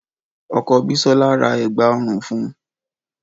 Ọkọ Bisola ra Ẹ̀gbá ọrùn fun